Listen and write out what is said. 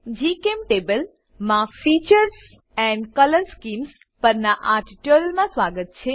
જીચેમ્ટેબલ માં features and colour schemes પરનાં આ ટ્યુટોરીયલમાં સ્વાગત છે